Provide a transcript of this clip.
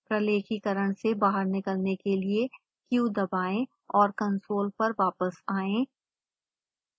प्रलेखीकरण से बाहर निकलने के लिए q दबाएं और कंसोल पर वापस आएं